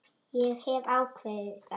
Ég hef ákveðið það.